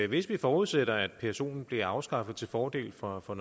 hvis man forudsætter at psoen bliver afskaffet til fordel for for